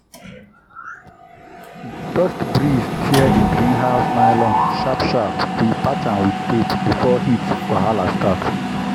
dust breeze tear the greenhouse nylon—sharp sharp we patch am with tape before heat wahala start.